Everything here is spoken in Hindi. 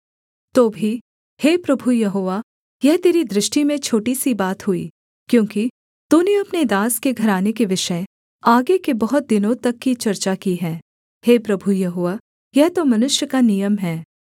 तो भी हे प्रभु यहोवा यह तेरी दृष्टि में छोटी सी बात हुई क्योंकि तूने अपने दास के घराने के विषय आगे के बहुत दिनों तक की चर्चा की है हे प्रभु यहोवा यह तो मनुष्य का नियम है